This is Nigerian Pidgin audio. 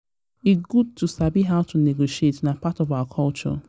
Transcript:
e good to sabi how to negotiate; na part of our culture.